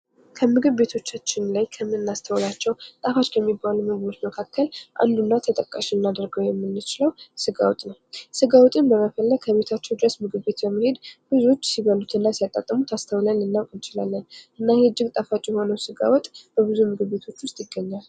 ከምግብ ቤቶቻችን ላይ ከምናስተውላቸው ጣፋጭ ከሚባሉ ምግቦች መካከል አንዱና ተጠቃሽ ልናደርገው የምንችለው ስጋ ወጥ ነው። ስጋ ወጥን በመፈለግ ከቤታቸው ድረስ ምግብ ቤት በመሄድ ብዙዎች ሲበሉትና ሲያጣጥሙት አስተውለን ልናውቅ እንችላለን። እና ይሄ እጅግ ጣፍጭ ስግ ወጥ በብዙ ምግብ ቤቶች ውስጥ ይገኛል።